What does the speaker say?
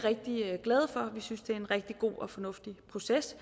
synes det er en rigtig god og fornuftig proces